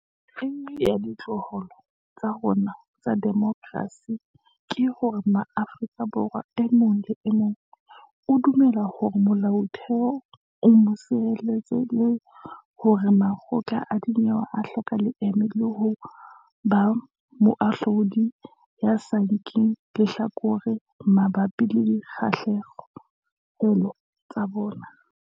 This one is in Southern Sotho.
E nngwe ya ditlholo tsa rona tsa demokerasi ke hore Mo-afrika Borwa e mong le e mong o dumela hore Molaotheo o a mo sireletsa le hore makgotla a dinyewe a hloka leeme le ho ba moahlodi ya sa nkeng lehlakore mabapi le dikgahlehelo tsa bona.